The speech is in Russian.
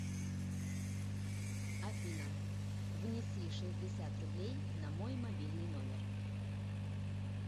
афина внеси шестьдесят рублей на мой мобильный номер